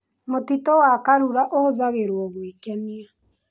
Mũtitũ wa karura ũhũthagĩrwo gwĩkenia.